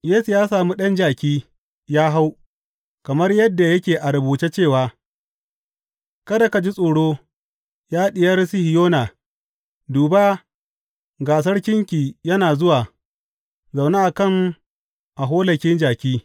Yesu ya sami ɗan jaki, ya hau, kamar yadda yake a rubuce cewa, Kada ki ji tsoro, ya Diyar Sihiyona; duba, ga sarkinki yana zuwa, zaune a kan aholaki jaki.